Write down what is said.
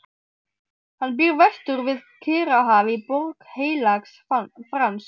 Hann býr vestur við Kyrrahaf í Borg Heilags Frans.